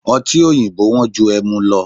Ọti oyinbo wó̩n ju ẹmu lo